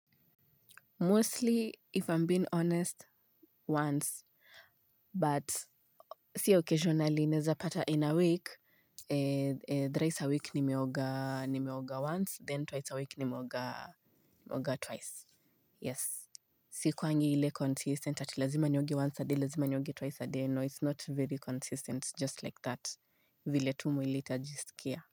Mostly, if I'm being honest, once. But, si occasionally, naezapata in a week. Thrice a week nimeoga once, then twice a week nimeoga twice. Yes. Sikuangi ile consistent ati lazima nioge once a day, lazima nioge twice a day. No, it's not very consistent, just like that. Vile tu mwili itajisikia.